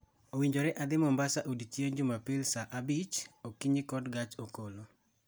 Owinjore adhi Mombasa odiechieng' Jumapil sa abich:00 okinyi kod gach okolo